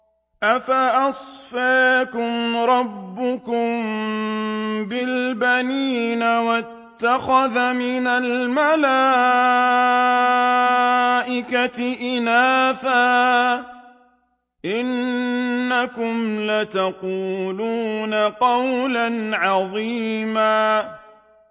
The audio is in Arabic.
أَفَأَصْفَاكُمْ رَبُّكُم بِالْبَنِينَ وَاتَّخَذَ مِنَ الْمَلَائِكَةِ إِنَاثًا ۚ إِنَّكُمْ لَتَقُولُونَ قَوْلًا عَظِيمًا